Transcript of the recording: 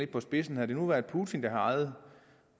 på spidsen havde det nu været putin der havde ejet